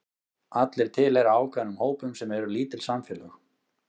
Allir tilheyra ákveðnum hópum sem eru lítil samfélög.